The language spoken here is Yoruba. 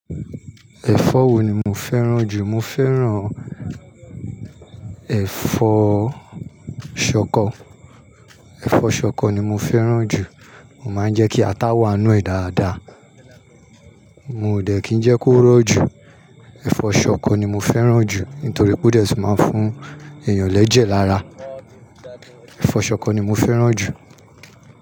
Ẹ̀fọ́ wo ni mo fẹ́ràn jù? Mo fẹ́ràn ẹ̀fọ́ ṣọkọ. Ẹ̀fọ́ ṣọkọ ni mo fẹ́ràn jù. Mo máa ń jẹ́ kí ata wà nínú ẹ̀ dáadáa. Mio dẹ̀ kí ń jẹ́ kó rọ̀ jù. Ẹ̀fọ́ ṣọkọ ni mo fẹ́ràn jù nítorí pé ó dẹ̀ tun máa ń fún èèyàn lẹ́jẹ̀ lára. Ẹ̀fọ́ ṣọkọ ni mo fẹ́ràn jù.